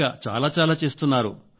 ఇంకా చాలా చాలా చేస్తున్నారు